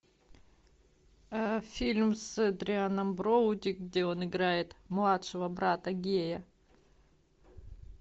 фильм с адрианом броуди где он играет младшего брата гея